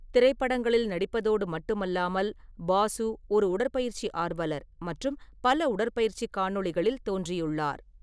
திரைப்படங்களில் நடிப்பதோடு மட்டுமல்லாமல், பாசு ஒரு உடற்பயிற்சி ஆர்வலர் மற்றும் பல உடற்பயிற்சி காணொளிகளில் தோன்றியுள்ளார்.